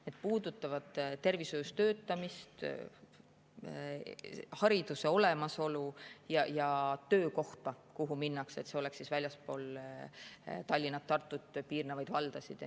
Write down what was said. Need puudutavad tervishoius töötamist, hariduse olemasolu ja töökohta, kuhu minnakse, et see oleks väljaspool Tallinna, Tartut ja piirnevaid valdasid.